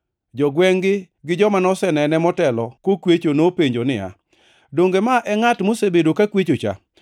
Jogwengʼ-gi gi joma nosenene motelo kokwecho nopenjo niya, “Donge ma e ngʼat mosebedo kakwechocha?”